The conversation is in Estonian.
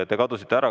Te kadusite ära.